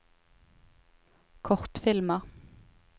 kortfilmer